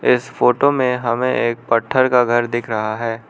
इस फोटो में हमें एक पट्ठर का घर दिख रहा है।